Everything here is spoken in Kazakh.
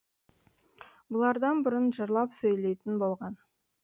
бұлардан бұрын жырлап сөйлейтін болған